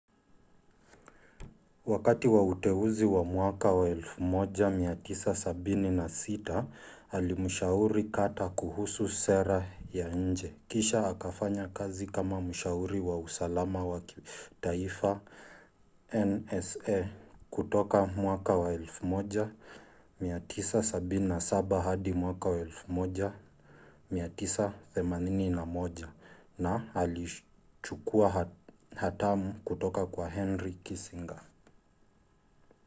wakati wa uteuzi wa 1976 alimshauri carter kuhusu sera ya nje kisha akafanya kazi kama mshauri wa usalama wa kitaifa nsa kutoka 1977 hadi 1981 na alichukua hatamu kutoka kwa henry kissinger